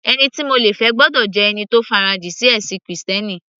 Ẹni tí mo le fẹ́ gbọ́dọ̀ jẹ́ ẹni tó farajìn sí ẹ̀sìn krìstẹ́nì